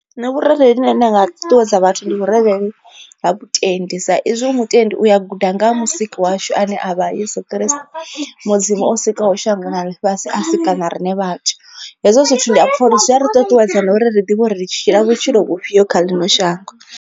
Nṋe vhurereli vhune nda nga ṱuṱuwedza vhathu ndi vhurereli ha vhutendi sa izwi u mutendi uya guda nga ha musiki washu ane a vha Yeso Christo, Mudzimu o sikaho shango na ḽifhasi a sika na riṋe vhathu. Hezwo zwithu ndi a pfha uri zwi a ri ṱuṱuwedza na uri ri ḓivhe uri ri tshila vhutshilo vhufhio kha ḽino shango.